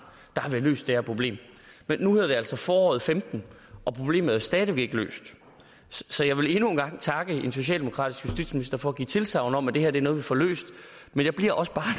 havde vi løst det her problem men nu hedder det altså foråret femten og problemet er jo stadig væk ikke løst så jeg vil endnu en gang takke en socialdemokratisk justitsminister for at give tilsagn om at det her er noget vi får løst men jeg bliver også bare